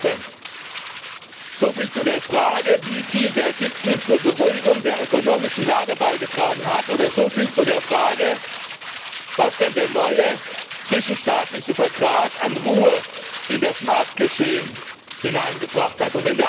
20 Soviel zu der Frage, wie viel der Gipfel zur Beruhigung der ökonomischen Lage beigetragen hat, oder so viel zu der Frage, was denn der neue zwischenstaatliche Vertrag an Ruhe in das Marktgeschehen hineingebracht hat.